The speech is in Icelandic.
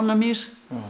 míns